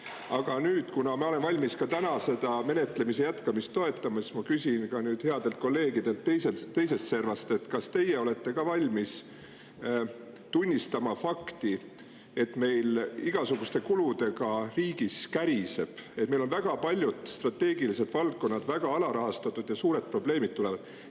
Aga nüüd, kuna ma olen valmis ka täna menetlemise jätkamist toetama, ma küsin headelt kolleegidelt teisest servast, kas teie olete ka valmis tunnistama fakti, et meil riigis igasuguste kuludega käriseb, et meil on paljud strateegilised valdkonnad väga alarahastatud ja sellest tulevad suured probleemid.